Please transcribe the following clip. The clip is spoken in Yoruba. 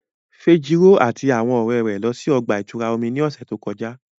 Fejiro ati awọn ọrẹ rẹ lọ si ọgba-ìturá omi ni ọsẹ to kọja.